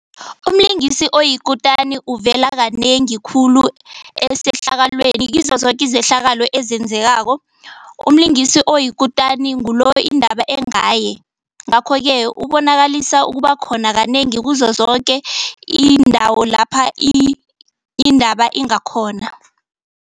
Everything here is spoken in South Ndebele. Umlingisi oyikutani uvela kanengi khulu esehlakalweni kizo zoke izehlakalo ezenzekako. Umlingisi oyikutani ngulo indaba engaye, ngakho-ke ubonakalisa ukuba khona kanengi kuzo zoke iindawo lapha indaba ingakhona.